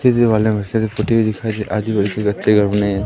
Fiji वाला से पुती हुई दिखाई दे घर बने--